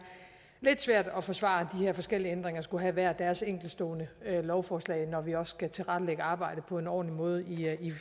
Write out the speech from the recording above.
lidt svært at forsvare at de her forskellige ændringer skulle have hver deres enkeltstående lovforslag når vi også skal tilrettelægge arbejdet på en ordentlig måde